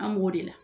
An b'o de la